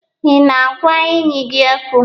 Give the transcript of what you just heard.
Ị na-agwa enyi gị okwu?